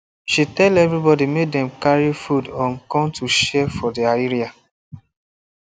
she tell everybody make dem carry food um come to share for their area